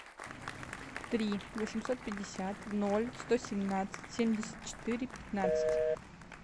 три восемьсот пятьдесят ноль сто семнадцать семьдесят четыре пятнадцать